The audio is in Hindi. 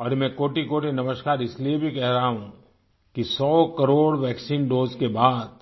और मैं कोटिकोटि नमस्कार इसलिए भी कह रहा हूँ कि 100 करोड़ वैक्सीन दोसे के बाद